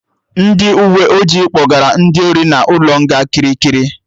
Ndị uwe ojii kpọgara ndị ori na ụlọ nga Kirikiri